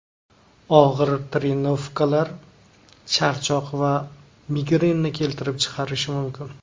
Og‘ir trenirovkalar charchoq va migrenni keltirib chiqarishi mumkin.